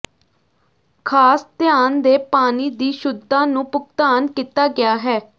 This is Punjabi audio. ਖਾਸ ਧਿਆਨ ਦੇ ਪਾਣੀ ਦੀ ਸ਼ੁੱਧਤਾ ਨੂੰ ਭੁਗਤਾਨ ਕੀਤਾ ਗਿਆ ਹੈ